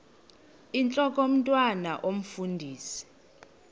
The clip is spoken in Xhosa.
intlok omntwan omfundisi